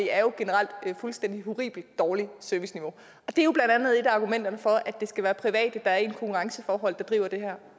er jo generelt et fuldstændig horribelt og dårligt serviceniveau det er jo blandt andet et af argumenterne for at det skal være private der er i et konkurrenceforhold der driver det her